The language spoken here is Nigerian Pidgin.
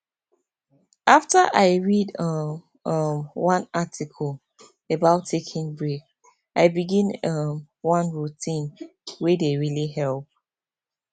after i read um um one article about taking break i begin um one routine wey dey really help